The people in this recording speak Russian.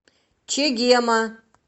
чегема